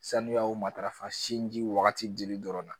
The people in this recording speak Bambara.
Sanuya o matarafa sinji wagati dili dɔrɔnna